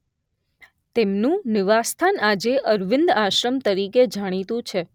તેમનું નિવાસ સ્થાન આજે અરવિંદ આશ્રમ તરીકે જાણીતું છે.